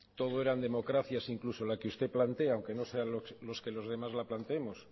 todo eran democracias incluso la que usted plantea aunque no sea lo que los demás la planteemos